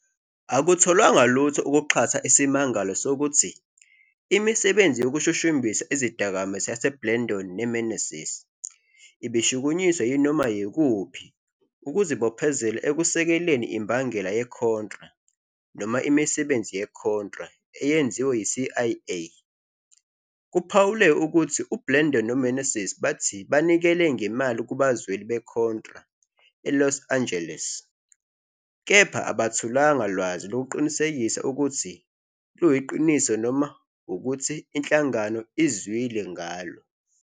Akutholanga lutho ukuxhasa isimangalo sokuthi "imisebenzi yokushushumbisa izidakamizwa yaseBlandón neMeneses ibishukunyiswa yinoma yikuphi ukuzibophezela ekusekeleni imbangela yeContra noma imisebenzi yeContra eyenziwe yiCIA. "Kuphawulwe ukuthi uBlandón noMeneses bathi banikele ngemali kubazweli beContra eLos Angeles, kepha abatholanga lwazi lokuqinisekisa ukuthi luyiqiniso noma ukuthi inhlangano izwile ngalo.